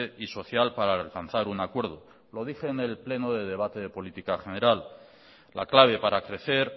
y social para alcanzar un acuerdo lo dije en el pleno de debate de política general la clave para crecer